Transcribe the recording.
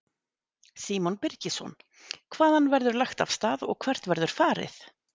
Símon Birgisson: Hvaðan verður lagt af stað og hvert verður farið?